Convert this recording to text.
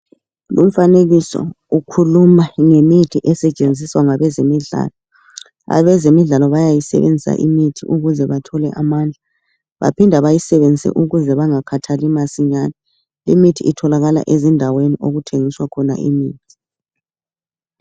Lumfanekiso ukhuluma ngemithi esetshenziswa ngabezemidlalo abezemidlalo bayayisebenzisa imithi ukuze bathole amandla baphinda bayisebenzise ukuze bangakhathali masinyani limithi itholakala ezindaweni okuthengiswa khona imithi.